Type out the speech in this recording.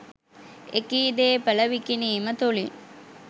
එකී දේපළ විකිණීම තුලින්